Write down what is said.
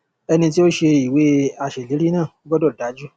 ẹni tí ó ṣe ìwé aṣèlérí náà gbọdọ dájú